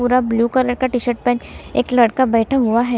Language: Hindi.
पूरा ब्लू कलर का टी शर्ट पहन एक लड़का बैठा हुआ है।